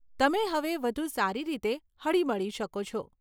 તમે હવે વધુ સારી રીતે હળીમળી શકો છો.